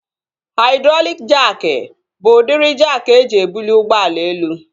Haidrọlịk jaakị bụ udịri jaakị eji ebuli ụgbọala elu